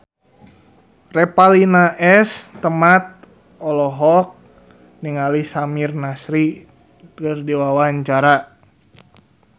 Revalina S. Temat olohok ningali Samir Nasri keur diwawancara